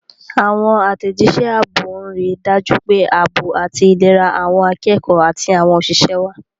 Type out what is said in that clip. Àwọn àtẹ̀jíṣẹ́ ààbò ń rí i dájú pé ààbò àti ìlera àwọn akẹ́kọ̀ọ́ àti àwọn òṣìṣẹ́ wà.